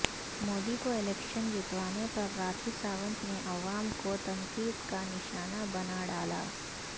مودی کو الیکشن جتوانے پر راکھی ساونت نے عوام کو تنقید کا نشانہ بنا ڈالا